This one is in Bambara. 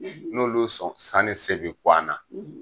N'olu sɔn sanni se bi ku an na